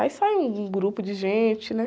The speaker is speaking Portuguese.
Aí sai um, um grupo de gente, né?